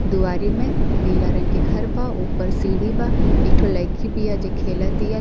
दुवारी में अ पीला रंग के घर बा। ओपर सीढ़ी बा। एक ठो लईकी बिया जे खेलतिया।